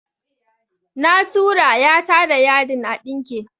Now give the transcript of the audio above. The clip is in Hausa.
Na tura "ya ta da yadin a ɗinke